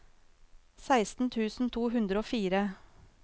seksten tusen to hundre og fire